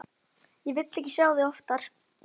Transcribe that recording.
Ég vil ekki sjá þig oftar.